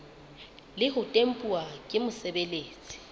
le ho tempuwa ke mosebeletsi